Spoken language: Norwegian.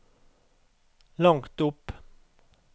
langt opp